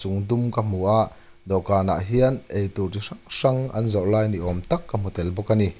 dum ka hmu a dawhkan ah hian eitur chi hrang hrang an zawrh lai ni awm tak ka hmu tel bawk a ni.